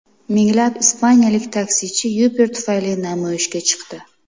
Minglab ispaniyalik taksichi Uber tufayli namoyishga chiqdi.